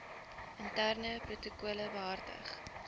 interne protokolle behartig